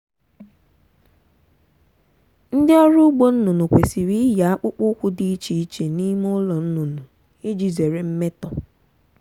ndị ọrụ ugbo nnụnụ kwesịrị iyi akpụkpọ ụkwụ dị iche iche n'ime ụlọ nnụnụ iji zere mmetọ.